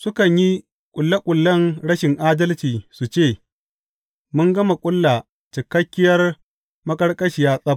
Sukan yi ƙulle ƙullen rashin adalci su ce, Mun gama ƙulla cikakkiyar maƙarƙashiya tsab!